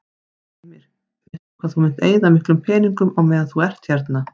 Heimir: Veistu hvað þú munt eyða miklum peningum á meðan þú ert hérna?